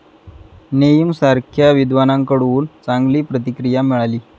नेईम सारख्या विद्वानांकडून चांगली प्रतिक्रिया मिळाली.